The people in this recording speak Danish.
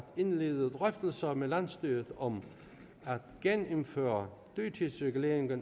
indlede drøftelser med landsstyret om at genindføre dyrtidsreguleringen af